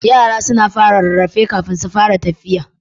Yara suna fara rarrafe kafin su fara tfiya.